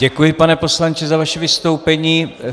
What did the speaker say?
Děkuji, pane poslanče za vaše vystoupení.